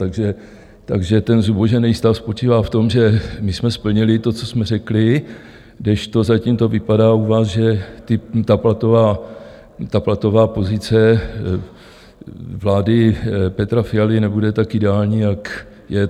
Takže ten zubožené stav spočívá v tom, že my jsme splnili to, co jsme řekli, kdežto zatím to vypadá u vás, že ta platová pozice vlády Petra Fialy nebude tak ideální, jak je.